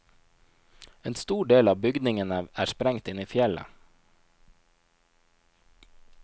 En stor del av bygningene er sprengt inn i fjellet.